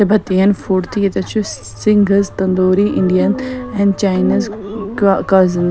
طِبتٮین فُڈتہِ ییٚتٮ۪تھ چُھ سِنگزتندوٗری اِنڈین اینڈ چاینزک کازِن